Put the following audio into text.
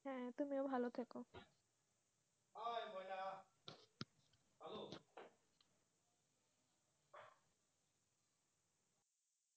হ্যাঁ তুমিও ভালো থেকো,